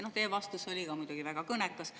Teie vastus oli ka muidugi väga kõnekas.